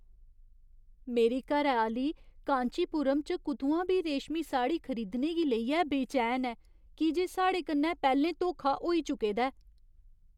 मेरी घरैआह्‌ली कांचीपुरम च कुतुआं बी रेशमी साड़ी खरीदने गी लेइयै बेचैन ऐ की जे साढ़े कन्नै पैह्लें धोखा होई चुके दा ऐ।